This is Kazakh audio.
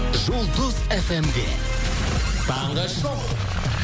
жұлдыз эф эм де таңғы шоууу